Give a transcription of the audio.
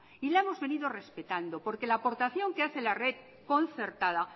y la hemos venido respetando porque la aportación que hace la red concertada